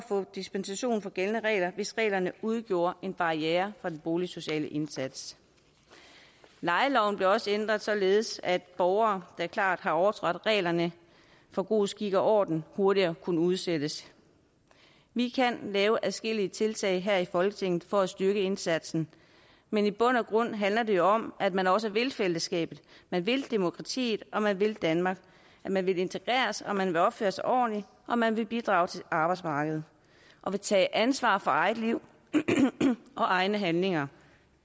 få dispensation fra gældende regler hvis reglerne udgjorde en barriere for den boligsociale indsats lejeloven blev også ændret således at borgere der klart har overtrådt reglerne for god skik og orden hurtigere kunne udsættes vi kan lave adskillige tiltag her i folketinget for at styrke indsatsen men i bund og grund handler det jo om at man også vil fællesskabet man vil demokratiet man vil danmark man vil integreres man vil opføre sig ordentligt og man vil bidrage til arbejdsmarkedet og tage ansvar for eget liv og egne handlinger